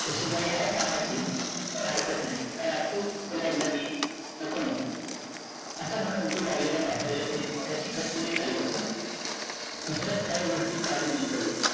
तशी बाई हाय कामाची पण हरकत नाही, का राखू तिला एकदा मी? नको-नको असं म्हणून उठू लागलेल्या म्हातारीला त्याने मोठ्या शिकस्तीने खाली बसवले, दुसऱ्याच काही गोष्टी काढून गुंतवली